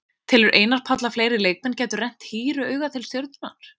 Telur Einar Páll að fleiri leikmenn gætu rennt hýru auga til Stjörnunnar?